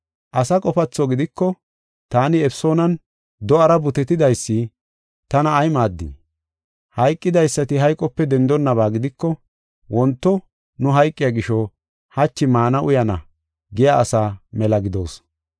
Asa qofatho gidiko, taani Efesoonan do7ara butetidaysi tana ay maaddii? Hayqidaysati hayqope dendonaba gidiko, “Wonto nu hayqiya gisho hachi maana uyana” giya asaa mela gidoos.